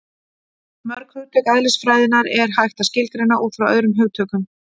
Mörg hugtök eðlisfræðinnar er hægt að skilgreina út frá öðrum hugtökum.